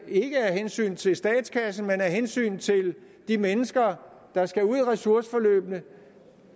ikke af hensyn til statskassen men af hensyn til de mennesker der skal ud i ressourceforløbene